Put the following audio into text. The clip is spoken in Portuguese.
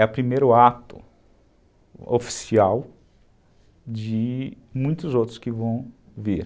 É o primeiro ato oficial de muitos outros que vão vir.